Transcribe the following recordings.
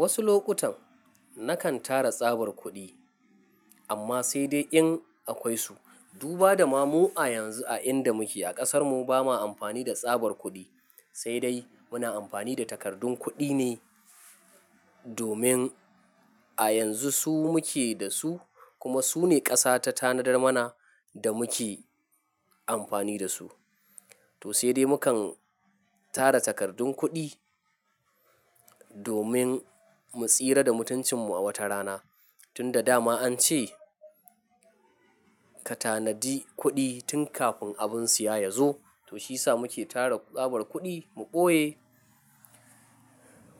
Wasu lokutan nakan tara tsabar kuɗi amma sai dai in akwai su. Duba da ma mu a yanzu a inda muke a ƙasarmu ba ma amfani da tsabar kuɗi, sai dai muna amfani da takardun kuɗi ne domin a yanzu su muke da su kuma su ne ƙasa ta tanadar mana da muke amfani da su. To sai dai mukan tara takardun kuɗi domin mu tsira da mutuncinmu a wata rana. Tun da dama an ce ka tanadi kuɗi tun kafin abin siya yazo. To shi sa muke tara tsabar kuɗi mu ɓoye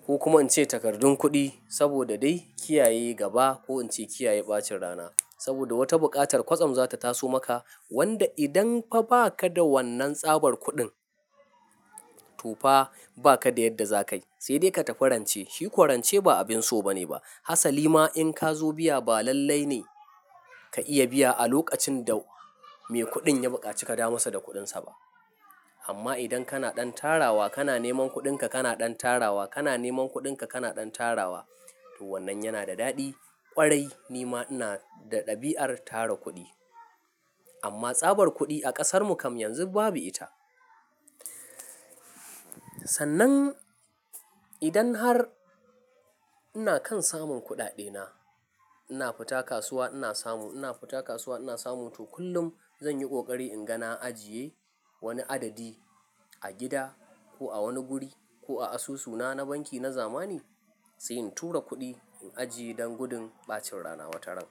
ko kuma in ce takardun kuɗi saboda dai kiyaye gaba ko in ce kiyaye ɓacin rana. Saboda wata buƙatar kwatsam za ta taso maka wanda idan fa ba ka da wannan tsabar kuɗin, tofa ba ka da yadda za kayi. Sai dai ka tafi rance. Shi kwarance ba abin so bane ba. Hasali ma in ka zo biya ba lallai ne ka iya biya a lokacin da mai kuɗin ya buƙaci ka da masa da kuɗinsa ba. Amma idan kana ɗan tarawa kana neman kuɗinka, kana ɗan tarawa kana neman kuɗinka, kana ɗan tarawa. To wannan yana da daɗi kwarai ni ma ina da ɗabi'ar tara kuɗi. Amma tsabar kuɗi a ƙasarmu kam yanzu babu ita. Sannan idan har ina kan samun kuɗaɗe na, ina fita kasuwa ina samu, ina fita kasuwa ina samu. To kullum zan yi ƙoƙari in ga na ajiye wani adadi a gida ko a wani guri ko a asusuna na banki na zamani sai in tura kuɗi in ajiye don gudun ɓacin rana wata ran.